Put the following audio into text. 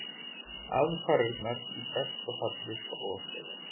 Aðfarirnar í besta falli broslegar.